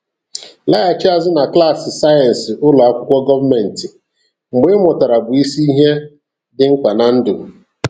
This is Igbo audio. Laghachi azụ na klaasị sayensị ụlọ akwụkwọ gọọmenti, mgbe ị mụtara bụ isi ihe dị mkpa na ndụ.